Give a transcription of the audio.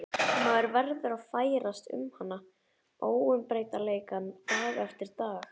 Maður verður að ferðast um hana, óumbreytanleikann, dag eftir dag.